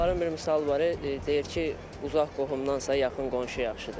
Onların bir misalı var, deyir ki, uzaq qohumdansa, yaxın qonşu yaxşıdır.